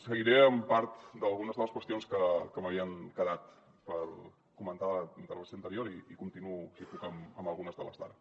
seguiré amb part d’algunes de les qüestions que m’havien quedat per comentar de la intervenció anterior i continuo si puc amb algunes de les d’ara